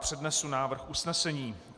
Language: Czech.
Přednesu návrh usnesení.